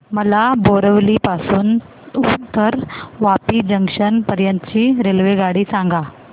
मला बोरिवली पासून तर वापी जंक्शन पर्यंत ची रेल्वेगाडी सांगा